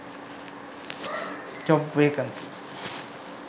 job vacancy